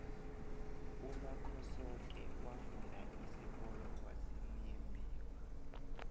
umakhosoke wafunda isikolo kwasimuyembiwa